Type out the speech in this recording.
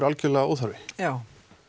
algjörlega óþarfi já